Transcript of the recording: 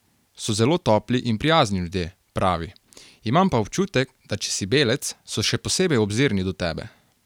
So zelo topli in prijazni ljudje, pravi: "Imam pa občutek, da če si belec, so še posebej obzirni do tebe.